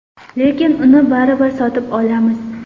Lekin uni baribir sotib olamiz.